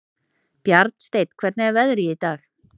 Bjarnsteinn, hvernig er veðrið í dag?